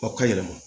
Aw ka yɛlɛma